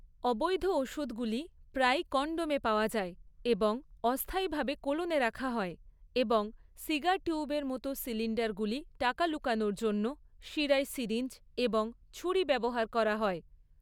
অবৈধ ওষুধগুলি প্রায়ই কনডমে পাওয়া যায় এবং অস্থায়ীভাবে কোলনে রাখা হয়, এবং সিগার টিউবের মতো সিলিন্ডারগুলি টাকা লুকানোর জন্য, শিরায় সিরিঞ্জ এবং ছুরি ব্যবহার করা হয়।